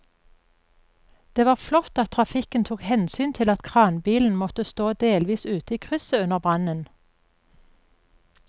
Det var flott at trafikken tok hensyn til at kranbilen måtte stå delvis ute i krysset under brannen.